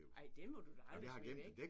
Ej den må du da aldrig smide væk